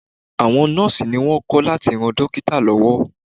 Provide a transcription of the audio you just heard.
Àwọn Nọ́ọ́sì ni wón kọ́ láti ran Dókítà lọ́wọ́.